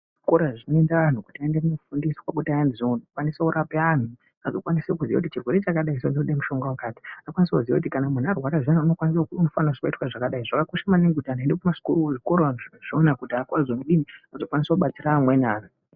Zvikora zvinoenda vantu kuti vazokwanisa kufundiswa kuti vazokwanise kurapa antu. Vanokwanise kuziya kuti chirwere chakati chinoda mushonga wakati. Vanokwanise kuziya kuti kana muntu warwara zviyani unofanira kuitwe zvakadayi. Zvakakosha maningi kuti antu anenge eiende kuchikora azokwanisa kubatsira amweni antu.